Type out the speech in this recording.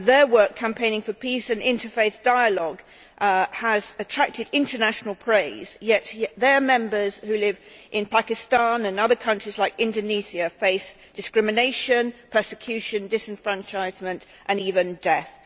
Their work campaigning for peace and interfaith dialogue has attracted international praise, yet their members who live in Pakistan and other countries like Indonesia face discrimination, persecution, disenfranchisement and even death.